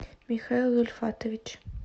михаил ульфатович